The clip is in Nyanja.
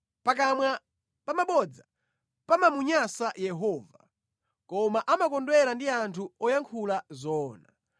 Pakamwa pa bodza pamamunyansa Yehova, koma amakondwera ndi anthu oyankhula zoona.